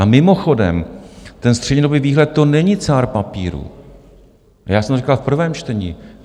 A mimochodem, ten střednědobý výhled, to není cár papíru, já jsem to říkal v prvém čtení.